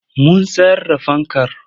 Mun sayar da fankar.